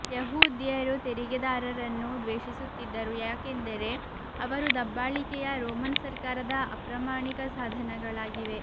ಯೆಹೂದ್ಯರು ತೆರಿಗೆದಾರರನ್ನು ದ್ವೇಷಿಸುತ್ತಿದ್ದರು ಏಕೆಂದರೆ ಅವರು ದಬ್ಬಾಳಿಕೆಯ ರೋಮನ್ ಸರ್ಕಾರದ ಅಪ್ರಾಮಾಣಿಕ ಸಾಧನಗಳಾಗಿವೆ